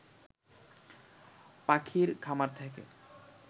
পাখির খামার থেকে